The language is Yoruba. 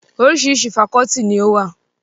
Oríṣiríṣi fakọ́ọ́tì ni ó wà.